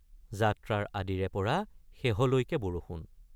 যাত্ৰাৰ আদিৰেপৰা শেহলৈকে বৰষুণ।